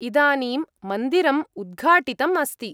इदानीं मन्दिरम् उद्घाटितम् अस्ति।